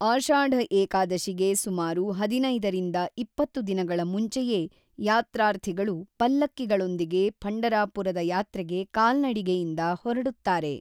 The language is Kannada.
ಆಷಾಢ ಏಕಾದಶಿಗೆ ಸುಮಾರು ಹದಿನೈದು-ಇಪ್ಪತ್ತು ದಿನಗಳ ಮುಂಚೆಯೇ ಯಾತ್ರಾರ್ಥಿಗಳು ಪಲ್ಲಕ್ಕಿಗಳೊಂದಿಗೆ ಪಂಢರಾಪುರದ ಯಾತ್ರೆಗೆ ಕಾಲ್ನಡಿಗೆಯಿಂದ ಹೊರಡುತ್ತಾರೆ.